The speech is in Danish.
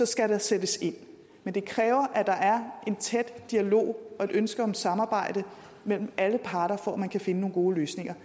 skal der sættes ind men det kræver at der er en tæt dialog og et ønske om samarbejde mellem alle parter for at man kan finde nogle gode løsninger